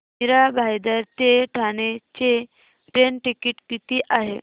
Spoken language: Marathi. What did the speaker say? मीरा भाईंदर ते ठाणे चे ट्रेन टिकिट किती आहे